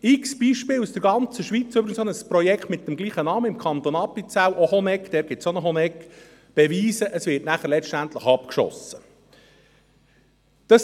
Zig Beispiele aus der ganzen Schweiz, zum Beispiel aus dem Kanton Appenzell, wo es auch eine Honegg gibt, beweisen, dass es letztendlich abgeschossen wird.